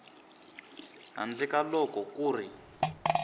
handle ka loko ku ri